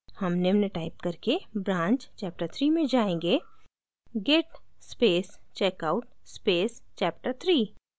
हम निम्न टाइप करके branch chapterthree में जायेंगे git space checkout space chapterthree